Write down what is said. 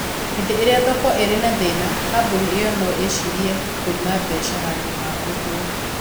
Hĩndĩ ĩrĩa thoko ĩrĩ na thĩna, kambuni ĩyo no ĩcirie kwĩima mbeca handũ ha ũguo.